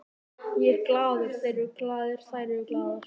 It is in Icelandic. Ég er glaður, þeir eru glaðir, þær eru glaðar.